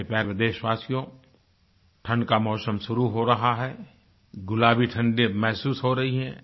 मेरे प्यारे देशवासियो ठंड का मौसम शुरू हो रहा है गुलाबी ठंडअब महसूस हो रही है